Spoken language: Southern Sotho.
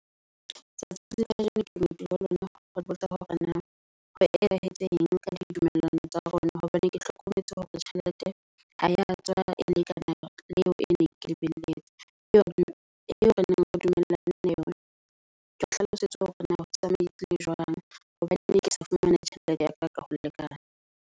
Tsatsi la kajeno ke ne ke ho botsa hore na ho etsahetseng ka ditumellano tsa rona, hobane ke hlokometse hore tjhelete ha ya tswa e lekana yona le eo e ne ke lebelletse. Eo re neng re dumellane le yona. Ke hlalosetse hore na ho tsamaile jwang hobane ne ke sa fumana tjhelete ya ka ka o lekana.